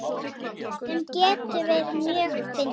Sem getur verið mjög fyndið.